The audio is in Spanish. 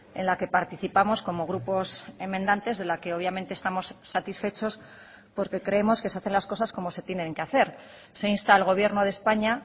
en la que participamos como grupos enmendantes de la que obviamente estamos satisfechos porque creemos que se hacen las cosas como se tienen que hacer se insta al gobierno de españa